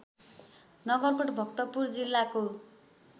नगरकोट भक्तपुर जिल्लाको